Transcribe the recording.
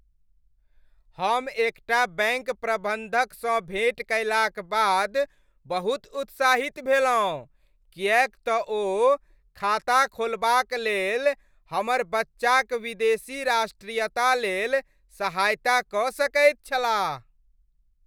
हम एकटा बैंक प्रबन्धकसँ भेँट कयलाक बाद बहुत उत्साहित भेलहुँ किएक तऽ ओ खाता खोलबाक लेल हमर बच्चाक विदेशी राष्ट्रीयता लेल सहायता कऽ सकैत छलाह।